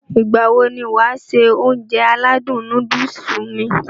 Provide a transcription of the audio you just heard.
Ìgbàwo ni wàá se Ounjẹ aládùn nóódùsì mi?